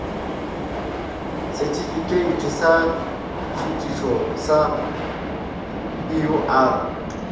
sethifikheithi sa šuthišo sa eur